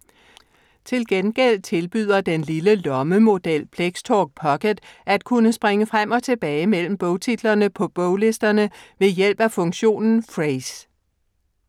Til gengæld tilbyder den lille lommemodel Plextalk Pocket at kunne springe frem og tilbage mellem bogtitlerne på boglisterne ved hjælp af funktionen Frase.